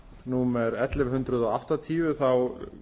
númer ellefu hundruð áttatíu þá